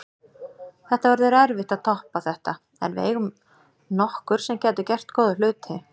Það verður erfitt að toppa þetta en við eigum nokkur sem gætu gert góða hluti.